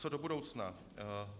Co do budoucna?